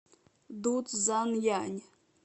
дуцзянъянь